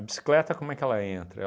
bicicleta, como é que ela entra?